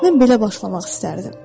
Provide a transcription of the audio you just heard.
Mən belə başlamaq istərdim.